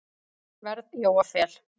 verð Jóa Fel.